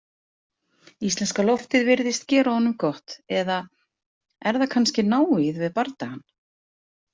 Íslenska loftið virðist gera honum gott eða er það kannski návígið við bardagann?